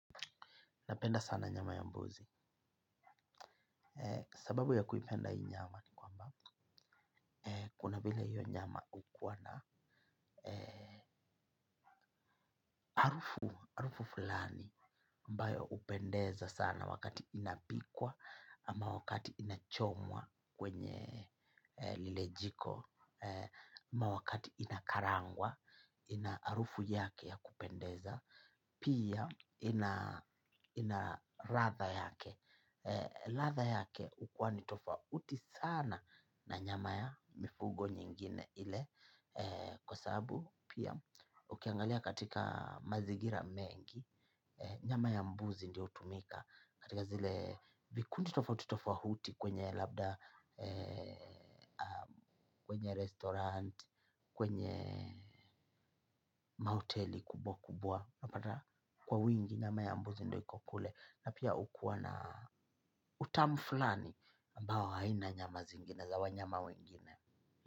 Napenda sana nyama ya mbuzi. Sababu ya kuipenda hii nyama ni kwamba kuna vile hiyo nyama hukuwa na harufu, harufu fulani mbayo hupendeza sana wakati inapikwa ama wakati inachomwa kwenye lile jiko. Ama wakati inakarangwa ina harufu yake ya kupendeza. Pia ina ladha yake. Ladha yake hukuwa ni tofauti sana na nyama ya mifugo nyingine ile kwa sababu pia ukiangalia katika mazingira mengi nyama ya mbuzi ndio hutumika katika zile vikundi tofauti tofauti kwenye labda kwenye restaurant, kwenye mahoteli kubwa kubwa unapata kwa wingi nyama ya mbuzi ndio hiko kule na pia hukuwa na utamu fulani ambao haina nyama zingine za wanyama wengine.